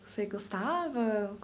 Você gostava?